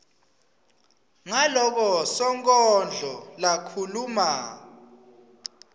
ngaloko sonkondlo lakhuluma